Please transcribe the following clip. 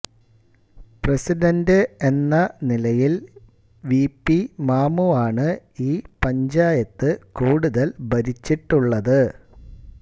president എന്ന നിലയിൽ V P മാമുവാണ് ഈ പഞ്ചായത്ത് കൂടുതൽ ഭരിച്ചിട്ടുള്ളത്